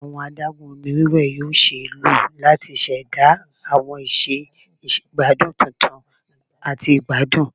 Awọn adagun omi wẹwẹ yoo ṣee lo lati ṣẹda awọn iṣẹ igbadun tuntun ati igbadun